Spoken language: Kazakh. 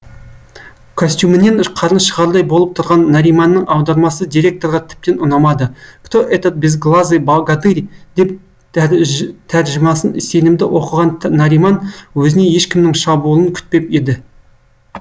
костюмінен қарны шығардай болып тұрған нариманның аудармасы директорға тіптен ұнамады кто этот безглазый богатырь деп тәржімасын сенімді оқыған нариман өзіне ешкімнің шабуылын күтпеп еді